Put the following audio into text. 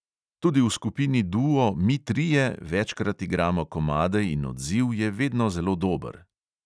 Tudi v skupini duo mi trije večkrat igramo komade in odziv je vedno zelo dober.